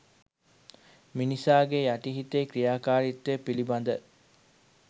මිනිසාගේ යටි හිතේ ක්‍රියාකාරිත්වය පිළිබඳ